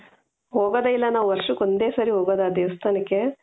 ಹೋಗೋದೇ ಇಲ್ಲ ನಾವು ವರ್ಷಕ್ಕೆ ಒಂದೇ ಸಲ ಹೋಗೋದು ಆ ದೇವಸ್ಥಾನಕ್ಕೆ